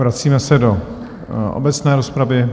Vracíme se do obecné rozpravy.